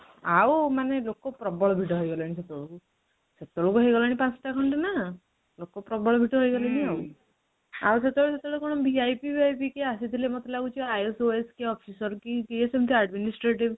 ଆଉ ମାନେ ଲୋକ ପ୍ରବଳ ଭିଡ ହେଇଗଲେଣି ସେତେବେଳକୁ ସେତେବେଳକୁ ହେଇଗଲାଣି ପାଞ୍ଚ ଟା ଖଣ୍ଡେ ନା ଲୋକ ପ୍ରବଳ ଭିଡ ହେଇଗଲେଣି ଆଉ ସେତେବେଳେ କଣ VIP ଆସିଥିଲେ କିଏ ଆସିଥିଲେ ମତେ ଲାଗୁଚି IAS OAS କି କିଏ officer କିଏ ସେମିତି administrative